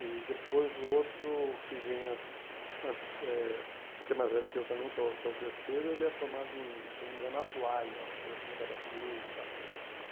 E, depois, o outro que vem, eh o que é mais velho que eu também, que é o que é o terceiro, ele é formado em, se eu não me engano, uma coisa assim, ligada a seguro, sabe? Uhum